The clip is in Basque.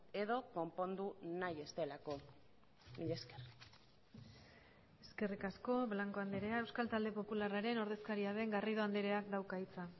edo konpondu nahi ez delako mila esker eskerrik asko blanco andrea euskal talde popularraren ordezkaria den garrido andreak dauka hitza